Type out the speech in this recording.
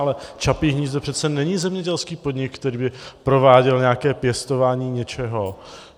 Ale Čapí hnízdo přece není zemědělský podnik, který by prováděl nějaké pěstování něčeho.